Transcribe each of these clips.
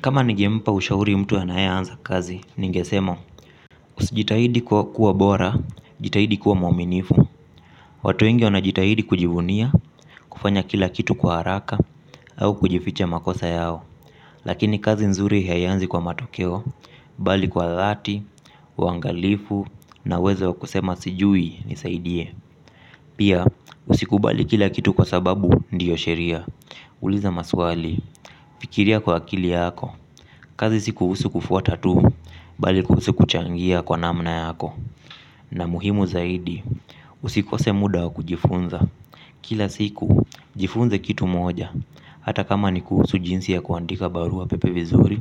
Kama ningempa ushauri mtu anayeanza kazi ningesema usijitahidi kuwa bora, jitahidi kuwa mwaaminifu. Watu wengi wanajitahidi kujivunia, kufanya kila kitu kwa haraka, au kujificha makosa yao. Lakini kazi nzuri haianzi kwa matokeo, bali kwa dhati, uangalifu, na uwezo kusema sijui, nisaidie. Pia, usikubali kila kitu kwa sababu ndiyo sheria. Uliza maswali, fikiria kwa akili yako. Kazi si kuhusu kufuata tu, bali kuhusu kuchangia kwa namna yako. Na muhimu zaidi, usikose muda wa kujifunza. Kila siku, jifunze kitu moja. Hata kama ni jinsi ya kuandika barua pepe vizuri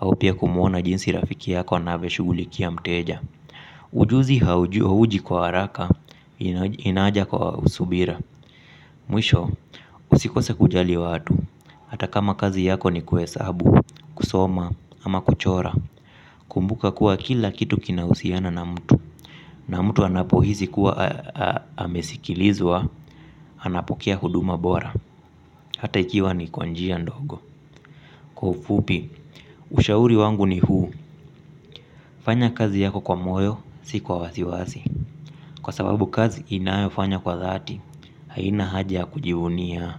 au pia kumuona jinsi rafiki yako anavyoshugulikia mteja. Ujuzi hauji kwa haraka, inaja kwa usubira. Mwisho, usikose kujali watu. Hata kama kazi yako ni kuhesabu, kusoma, ama kuchora. Kumbuka kuwa kila kitu kinahusiana na mtu. Na mtu anapohisi kuwa amesikilizwa anapokea huduma bora. Hata ikiwa ni kwa njia ndogo. Kwa ufupi, ushauri wangu ni huu. Fanya kazi yako kwa moyo, si kwa wasiwasi. Kwa sababu kazi inayofanywa kwa dhati, haina haja ya kujivunia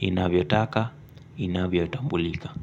inavyotaka, inavyotambulika.